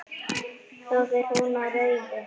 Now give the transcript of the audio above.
Þá fer hún á rauðu.